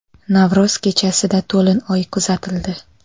Navro‘z kechasida to‘lin oy kuzatildi.